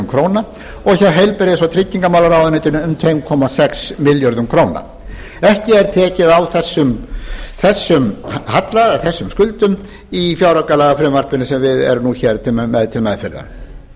heilbrigðis og tryggingamálaráðuneyti um tvö komma sex milljörðum króna ekki er tekið á þessum halla eða þessum skuldum í fjáraukalagafrumvarpinu sem við erum með til meðferðar í